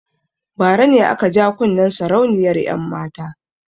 Bara ne aka ja kunnen sarauniyar 'yanmata.